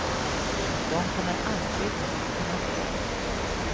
Och de kommer alltid mitt i natten.